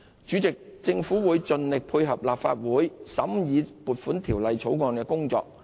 主席，政府會盡力配合立法會審議《條例草案》的工作。